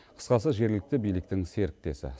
қысқасы жергілікті биліктің серіктесі